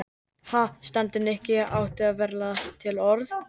Ha? stundi Nikki og átti varla til orð.